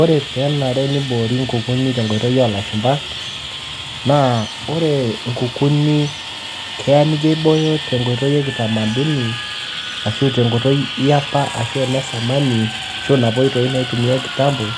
Ore pee enare peyie eboori inkukuni toonkoitoi oo lashumba, naa ore inkukuni naa ijo aibooyo tenkoitoi ekitamaduni ashu tenkoitoi aiapa ashu enesamani ashu inapa oitoi naata kitambo